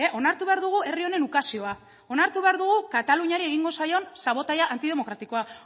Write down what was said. onartu behar dugu herri honen ukazioa onartu behar dugu kataluniari egingo zaion sabotaia antidemokratikoa